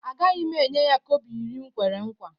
Agaghị m enye ya kobo iri m kwere nkwa